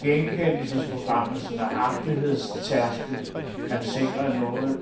Genkendelsesprogrammets nøjagtighedstærskel kan sikre noget